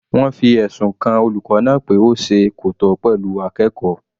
Wọ́n fi ẹ̀sùn kan olùkọ́ náà pé ó ṣe kò tọ́ pẹ̀lú akẹ́kọ̀ọ́.